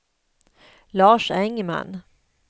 Lars Engman